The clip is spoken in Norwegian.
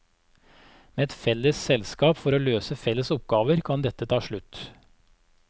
Med et felles selskap for å løse felles oppgaver, kan dette ta slutt.